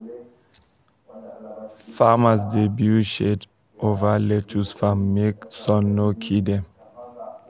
farmers dey build shade over lettuce farm make um sun no kill dem.